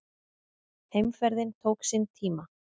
Heimferðin tók sinn tíma.